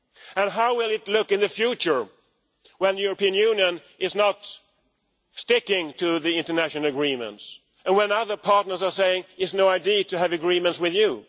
And how will it look in the future when the European Union is not sticking to the international agreements and when other partners are saying it is not ideal to have agreements with you.